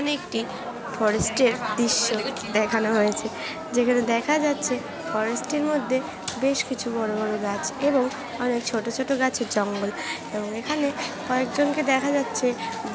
এখানে একটি ফরেস্টে -এর দৃশ্য দেখানো হয়েছে। যেখানে দেখা যাচ্ছে ফরেস্টের মধ্যে বেশ কিছু বড় বড় গাছ এবং অনেক ছোট ছোট গাছের জঙ্গল। এখানে কয়েকজনকে দেখা যাচ্ছে ।